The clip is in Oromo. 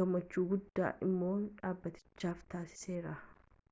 gumaacha guddaa immoo dhaabbatichaaf taasiseera